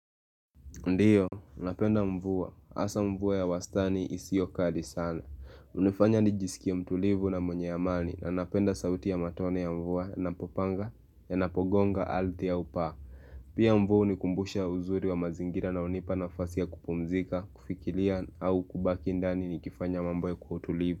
Ndiyo, napenda mvua. Asa mvua ya wastani isiokali sana. Unifanya ni jisikie mtulivu na mwenye amani na napenda sauti ya matone ya mvua na popanga yanapogonga ardhi au paa. Pia mvua ni hunikumbusha uzuri wa mazingira na hunipa nafasi ya kupumzika, kufikiria au kubaki ndani ni kifanya mambo kwa utulivu.